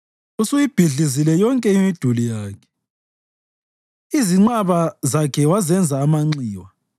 Usuyibhidlizile yonke imiduli yakhe, izinqaba zakhe wazenza amanxiwa.